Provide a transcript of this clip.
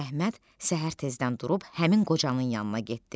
Əhməd səhər tezdən durub həmin qocanın yanına getdi.